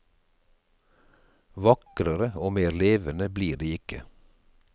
Vakrere og mer levende blir de ikke.